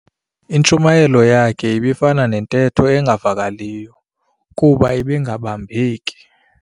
Intshumayelo yakhe ibifana nentetho engavakaliyo kuba ibingabambeki.